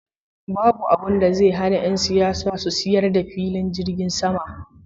Babu abinda zai hana yan siyasa su sayar da filin jirgin sama.